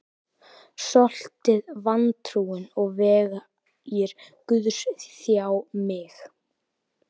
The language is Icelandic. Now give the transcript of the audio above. Stoltið, vantrúin og vegir Guðs þjá mig.